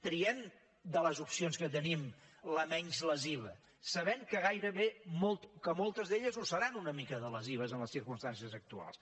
triem de les opcions que tenim la menys lesiva sabent que moltes d’elles ho seran una mica de lesives en les circumstàncies actuals